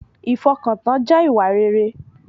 Ìfọkàntán jẹ́ ìwà rere